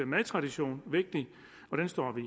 madtradition vigtig og den står vi